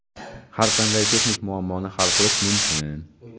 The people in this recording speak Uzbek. har qanday texnik muammoni hal qilish mumkin.